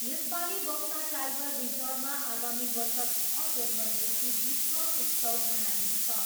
यसपालि बक्सा टाइगर रिजर्भमा आगामी वर्ष छ जनवरीदेखि विश्व उत्सव मनाइनेछ।